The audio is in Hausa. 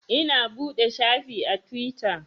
Ina buɗe shafi a Tiwita